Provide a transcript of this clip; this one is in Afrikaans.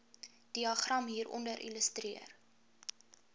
diagram hieronder illustreer